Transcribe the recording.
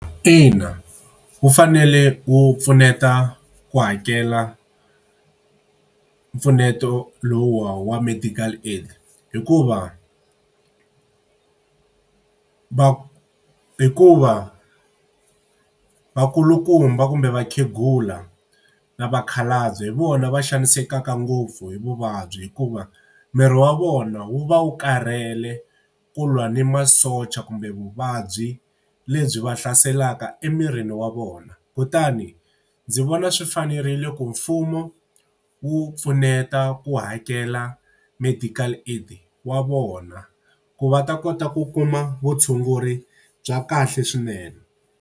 Ina wu fanele wu pfuneta ku hakela mpfuneto lowu wa medical aid hikuva hikuva vakulukumba kumbe vakhegula na vakhalabye hi vona va xanisekaka ngopfu hi vuvabyi hikuva miri wa vona wu va wu karhele ku lwa ni masocha kumbe vuvabyi lebyi va hlaselaka emirini wa vona. Kutani ndzi vona swi fanerile ku mfumo wu pfuneta ku hakela medical aid wa vona, ku va ta kota ku kuma vutshunguri bya kahle swinene.